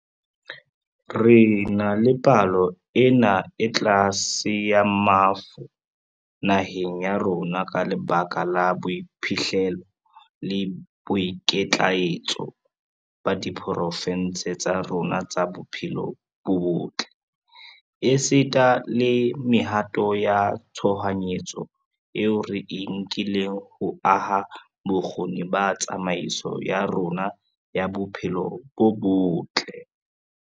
Re na le palo ena e tlase ya mafu naheng ya rona ka lebaka la boiphihlelo le boikitlaetso ba diporofeshenale tsa rona tsa bophelo bo botle, esita le mehato ya tshohanyetso eo re e nkileng ho aha bokgoni ba tsamaiso ya rona ya bophelo bo botle.